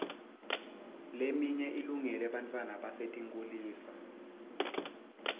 leminye ilungele bantfwana basetinkhulisa